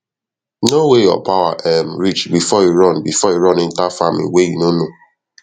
i add ten goat join my herd after i build bigger shelter for livestock last week